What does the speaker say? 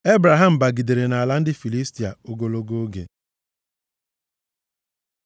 Ebraham bigidere nʼala ndị Filistia ogologo oge.